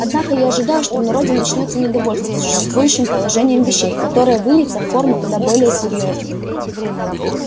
однако я ожидаю что в народе начнётся недовольство существующим положением вещей которое выльется в формы куда более серьёзные